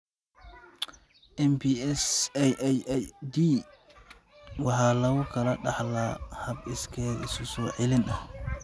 MPS IIID waxa lagu kala dhaxlaa hab iskeed isu-soo-celin ah.